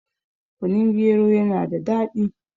kunun gero yana da daɗi